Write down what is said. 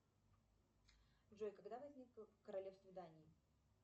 джой когда возникло королевство дании